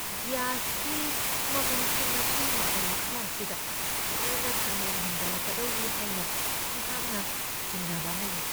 ꯒ꯭ꯌꯥꯁꯀꯤ ꯃꯃꯜꯁꯤꯡ ꯑꯁꯤ ꯃꯇꯝ ꯈꯔ ꯑꯁꯤꯗ ꯊꯨꯅ ꯈꯪꯍꯦꯟ ꯍꯦꯟꯒꯠꯂꯛꯀꯗꯧꯔꯤ ꯍꯥꯏꯅ ꯑꯩꯍꯥꯛꯅ ꯆꯤꯡꯅꯕ ꯑꯃ ꯂꯩ ꯫